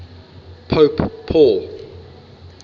pope paul